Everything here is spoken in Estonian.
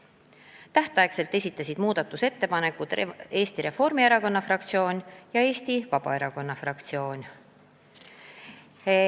Tähtajaks esitasid muudatusettepanekud Eesti Reformierakonna fraktsioon ja Eesti Vabaerakonna fraktsioon.